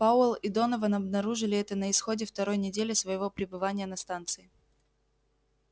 пауэлл и донован обнаружили это на исходе второй недели своего пребывания на станции